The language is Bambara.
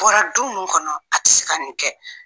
Bɔra du mun kɔnɔ ,a te se ka nin kɛ.